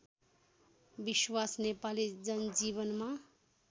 विश्वास नेपाली जनजीवनमा